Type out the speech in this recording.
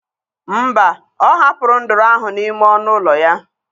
Mba, ọ hapụrụ nduru ahụ n'ime ọnụ ụlọ ya.